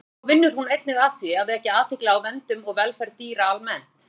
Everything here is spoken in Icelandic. Þá vinnur hún einnig að því að vekja athygli á verndun og velferð dýra almennt.